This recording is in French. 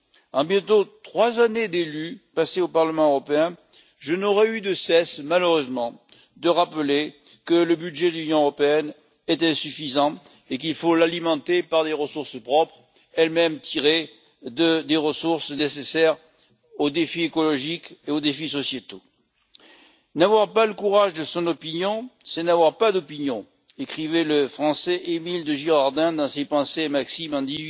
Après bientôt trois années de mandat au Parlement européen, je n'aurai eu de cesse, malheureusement, de rappeler que le budget de l'Union européenne est insuffisant et qu'il faut l'alimenter par des ressources propres, elles-mêmes tirées des ressources nécessaires aux défis écologiques et aux défis sociétaux. N'avoir pas le courage de son opinion, c'est n'avoir pas d'opinion écrivait le Français Émile de Girardin dans ses Pensées et maximes en